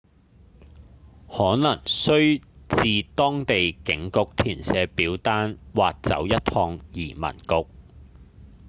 可能須至當地警局填寫表單或走一趟移民局